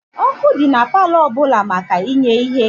Ọkụ dị na palọ ọbụla maka inye ihe.